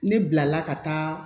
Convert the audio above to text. Ne bilala ka taa